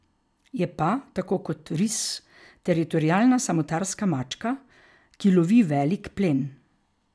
Je pa, tako kot ris, teritorialna samotarska mačka, ki lovi velik plen.